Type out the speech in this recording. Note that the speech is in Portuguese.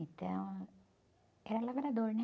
Então, era lavrador, né?